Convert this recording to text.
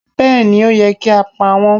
Béèni ó yẹ kí á pa wọ́n